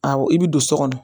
Awɔ i bɛ don so kɔnɔ